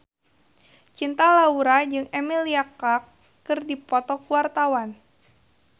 Cinta Laura jeung Emilia Clarke keur dipoto ku wartawan